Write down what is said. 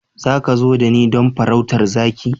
Za ka zo da ni don farautar zaki?